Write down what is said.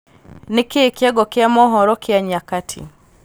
nīkīī kīongo kīa mohoro kīa nyakati